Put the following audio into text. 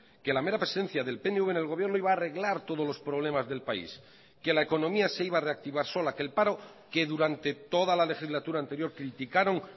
que la mera presencia del pnv en el gobierno iba a arreglar todos los problemas del país que la economía se iba a reactivar sola que el paro que durante toda la legislatura anterior criticaron